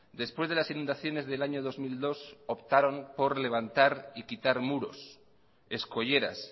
después de las inundaciones del año dos mil dos optaron por levantar y quitar muros escolleras